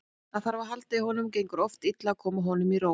Það þarf að halda á honum og gengur oft illa að koma honum í ró.